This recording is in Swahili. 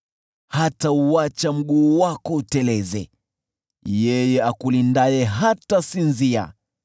Hatauacha mguu wako uteleze, yeye akulindaye hatasinzia,